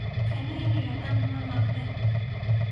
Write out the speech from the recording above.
kaniniga dhaan malaktey.